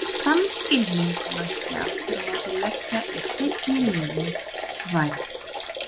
Þann skilning mætti aftur á móti leggja í seinni liðinn- vænn.